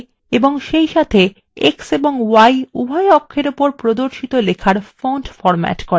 সেইসাথে x এবং y উভয় অক্ষর উপর প্রদর্শিত লেখার font ফরম্যাট করে